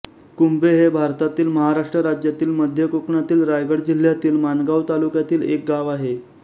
कुंभे हे भारतातील महाराष्ट्र राज्यातील मध्य कोकणातील रायगड जिल्ह्यातील माणगाव तालुक्यातील एक गाव आहे